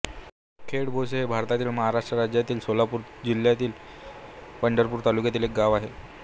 खेडभोसे हे भारतातील महाराष्ट्र राज्यातील सोलापूर जिल्ह्यातील पंढरपूर तालुक्यातील एक गाव आहे